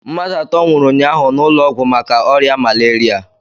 Mmadụ atọ nwụrụ unyaahụ n' ulọọgwụ maka oria malaria.